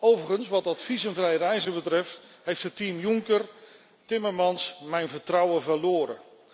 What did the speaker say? Overigens, wat dat visumvrij reizen betreft, heeft het team Juncker Timmermans mijn vertrouwen verloren.